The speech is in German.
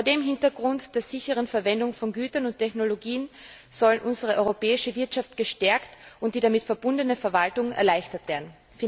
Vor dem Hintergrund der sicheren Verwendung von Gütern und Technologien soll unsere europäische Wirtschaft gestärkt und die damit verbundene Verwaltung erleichtert werden.